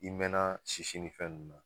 I mɛɛnna sisi ni fɛn ninnu na